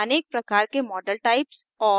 अनेक प्रकार के model types और